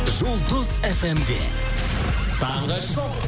жұлдыз фмде таңғы шоу